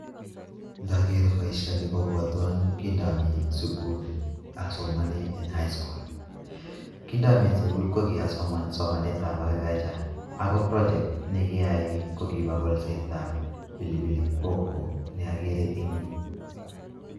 Ngakeer boisioni kobwatwa amii sukul asomani eng high school kingamii sukul kokiaae agriculture ako project nekiaai kokibo kolsetab pilipilihoho neakere ing yu.